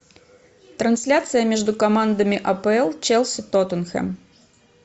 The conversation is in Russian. трансляция между командами апл челси тоттенхэм